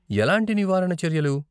ఎలాంటి నివారణ చర్యలు?